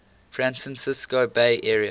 francisco bay area